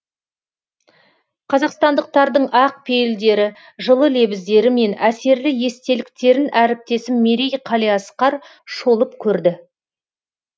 қазақстандықтардың ақ пейілдері жылы лебіздері мен әсерлі естеліктерін әріптесім мерей қалиасқар шолып көрді